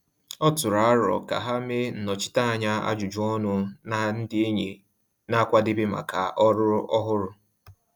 Ọ tụrụ aro ka ha mee nnọchiteanya ajụjụ ọnụ na ndị enyi na-akwadebe maka ọrụ ọhụrụ.